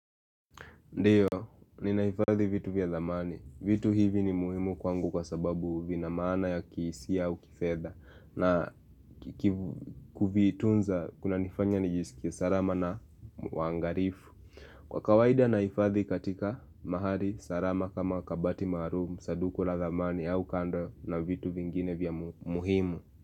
Ndiyo, ninahifadhi vitu vya thamani. Vitu hivi ni muhimu kwangu kwa sababu vinamana ya kihisia au kifedha na kivitunza kuna nifanya nijiskie sarama na wangarifu. Kwa kawaida naifadhi katika mahali sarama kama kabati marumu, saduku la zamani au kando na vitu vingine vya muhimu.